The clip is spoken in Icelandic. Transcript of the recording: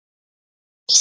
Allt eykst.